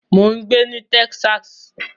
Mò ń gbé ní Texas.